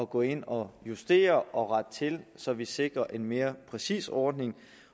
gå ind og justere og rette til så vi sikrer en mere præcis ordning